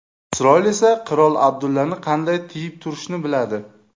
Isroil esa qirol Abdullani qanday tiyib turishni biladi.